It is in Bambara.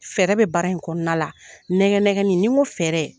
Fɛɛrɛ bɛ baara in kɔnɔna la , nɛgɛn nɛgɛnni, ni n ko fɛɛrɛ